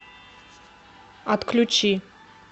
отключи